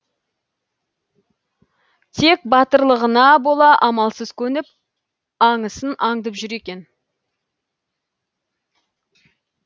тек батырлығына бола амалсыз көніп аңысын аңдып жүр екен